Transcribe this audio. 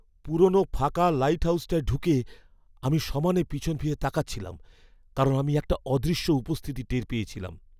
পুরনো ফাঁকা লাইটহাউজটায় ঢুকে আমি সমানে পিছন ফিরে তাকাচ্ছিলাম কারণ আমি একটা অদৃশ্য উপস্থিতি টের পেয়েছিলাম।